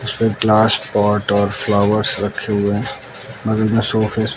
उसपे glass pot और flowers रखे हुए बगल में सोफे --